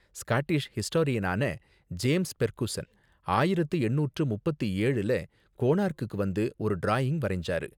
Scottish ஹிஸ்டோரியனான James Fergusson ஆயிரத்து எண்ணூற்று முப்பத்து ஏழுல கோனார்க்குக்கு வந்து ஒரு டிராயிங் வரைஞ்சாரு.